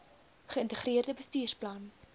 ge integreerde bestuursplan